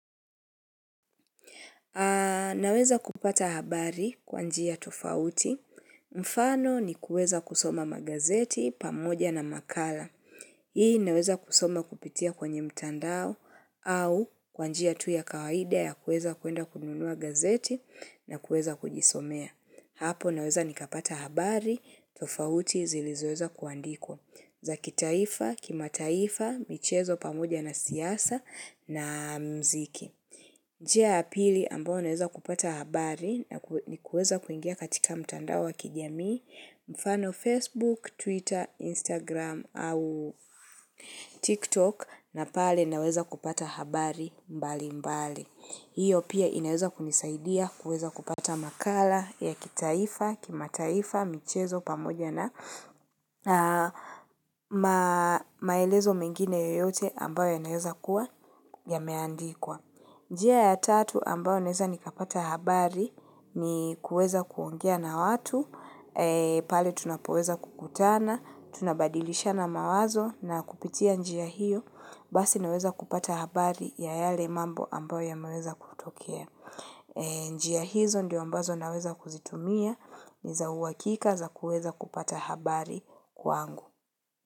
Naweza kupata habari kwa njia tofauti. Mfano ni kuweza kusoma magazeti pamoja na makala. Hii naweza kusoma kupitia kwenye mtandao au kwa njia tu ya kawaida ya kuweza kwenda kununua gazeti na kuweza kujisomea. Hapo naweza nikapata habari, tofauti zilizoweza kuandikwa. Za kitaifa, kimataifa, michezo pamoja na siasa na muziki. Njia ya pili ambayo naweza kupata habari, ni kuweza kuingia katika mtandao wa kijamii, mfano Facebook, Twitter, Instagram au TikTok na pale naweza kupata habari mbali mbali. Hiyo pia inaweza kunisaidia kuweza kupata makala ya kitaifa, kimataifa, michezo, pamoja na maelezo mengine yoyote ambayo yanayoweza kuwa yameandikwa. Njia ya tatu ambayo naweza nikapata habari ni kuweza kuongea na watu, pale tunapoweza kukutana, tunabadilishana mawazo na kupitia njia hiyo, basi naweza kupata habari ya yale mambo ambayo yameweza kutokea. Njia hizo ndio ambazo naweza kuzitumia ni za uhakika za kuweza kupata habari kwangu.